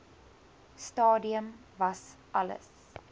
stadium was alles